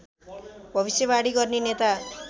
भविष्यवाणी गर्ने नेता